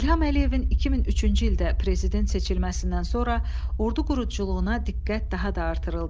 İlham Əliyevin 2003-cü ildə prezident seçilməsindən sonra ordu quruculuğuna diqqət daha da artırıldı.